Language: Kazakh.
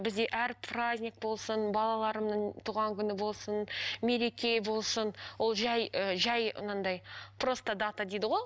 бізде әр праздник болсын балаларымның туған күні болсын мереке болсын ол жай ы жай анандай просто дата дейді ғой